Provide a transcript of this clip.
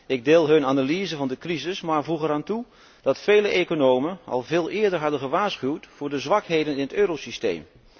Ik deel hun analyse van de crisis, maar voeg er aan toe dat vele economen al veel eerder hadden gewaarschuwd voor de zwakheden in het eurosysteem.